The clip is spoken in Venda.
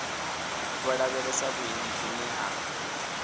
vho lavhelesa vhuendi vhune ha